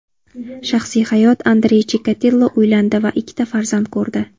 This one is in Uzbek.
Shaxsiy hayot Andrey Chikatilo uylandi va ikkita farzand ko‘rdi.